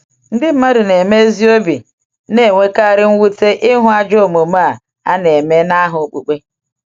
Ndị mmadụ na-eme ezi obi na-enwekarị mwute ịhụ ajọ omume a na-eme n’aha okpukpe.